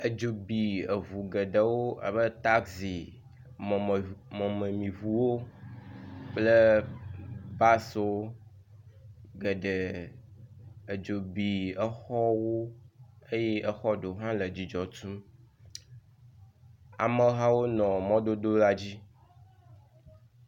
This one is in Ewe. Edzo bi eŋu geɖewo abe tazi, mɔmemɔmemiŋuwo kple basiwo geɖe. Edzo bi exɔwo eye xɔ ɖewo hã nɔ dzidzɔ tum. Amehawo nɔ mɔdodo la dzi.